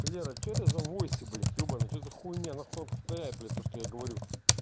лера что это за войсы блять ебанный что за хуйня нахуй он повторяет блять то что я говорю